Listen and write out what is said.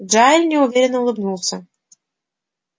джаэль неуверенно улыбнулся